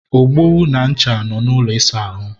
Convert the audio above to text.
ogbo na ncha nọ n'ụlọ ịsa ahụ